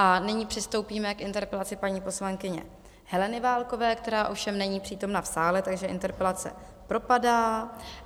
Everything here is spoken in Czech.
A nyní přistoupíme k interpelaci paní poslankyně Heleny Válkové, která ovšem není přítomna v sále, takže interpelace propadá.